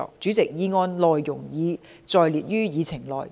主席，議案內容已載列於議程內。